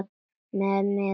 Mér miðar áfram.